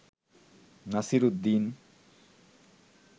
Nasir Uddin